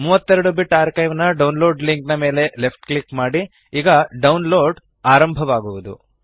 32 bit archive ನ download link ಮೇಲೆ left click ಮಾಡಿ ಈಗ ಡೌನ್ಲೋಡ್ ಆರಂಭವಾಗುವದು